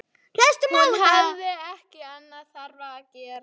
Hún hafði ekki annað þarfara að gera.